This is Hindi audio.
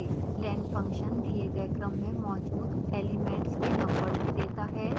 len फंक्शन दिए गए क्रम में मौजूद एलिमेंट्स के नंबर्स देता है